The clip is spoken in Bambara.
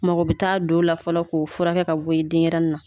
Mɔgɔ bɛ taa don o la fɔlɔ k'o fura furakɛ ka bɔ yen denɲɛrɛnin na